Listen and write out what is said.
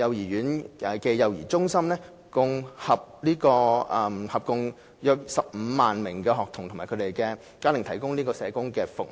幼稚園暨幼兒中心合共約15萬名學童及其家庭提供社工服務。